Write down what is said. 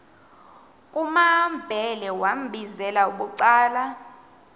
kumambhele wambizela bucala